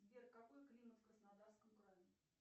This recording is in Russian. сбер какой климат в краснодарском крае